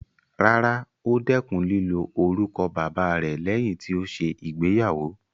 Rárá, ó dẹkùn lílo orúkọ bàbáa rẹ̀ lẹ́yìn tí ó ṣe ìgbéyàwó.